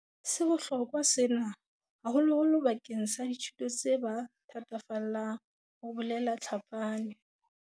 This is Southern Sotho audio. "Se bohlokwa sena, haholoholo bakeng sa dithuto tse ba thatafallang," ho bolela Tlhapane.